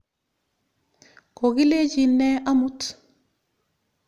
Ko kilechin ne amut?